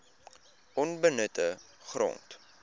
onbenutte grond